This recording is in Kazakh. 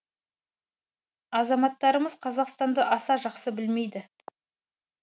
азаматтарымыз қазақстанды аса жақсы білмейді